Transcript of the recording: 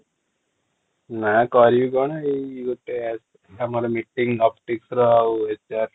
ନା କରିବି କ'ଣ ଏଇ ଗୋଟେ ଆମର meeting ଅଫିସର ଆଉ